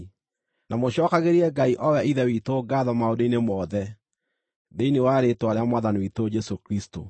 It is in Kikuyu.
na mũcookagĩrie Ngai o we Ithe witũ ngaatho maũndũ-inĩ mothe, thĩinĩ wa rĩĩtwa rĩa Mwathani witũ Jesũ Kristũ.